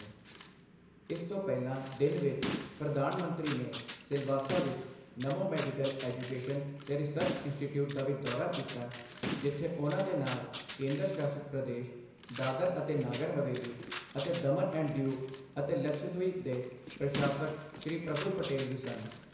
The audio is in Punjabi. ਇਸ ਤੋਂ ਪਹਿਲਾਂ ਦਿਨ ਵਿੱਚ, ਪ੍ਰਧਾਨ ਮੰਤਰੀ ਨੇ ਸਿਲਾਵਾਸਾ ਵਿੱਚ ਨਮੋ ਮੈਡੀਕਲ ਐਜੂਕੇਸ਼ਨ ਤੇ ਰਿਸਰਚ ਇੰਸਟੀਟਿਊਟ ਦਾ ਵੀ ਦੌਰਾ ਕੀਤਾ, ਜਿੱਥੇ ਉਨ੍ਹਾਂ ਦੇ ਨਾਲ ਕੇਂਦਰ ਸ਼ਾਸਿਤ ਪ੍ਰਦੇਸ਼ ਦਾਦਰ ਅਤੇ ਨਾਗਰ ਹਵੇਲੀ ਅਤੇ ਦਮਨ ਅਤੇ ਦਿਉ ਅਤੇ ਲਕਸ਼ਦ੍ਵੀਪ ਦੇ ਪ੍ਰਸ਼ਾਸਕ ਸ਼੍ਰੀ ਪ੍ਰਫੁੱਲ ਪਟੇਲ ਵੀ ਸਨ।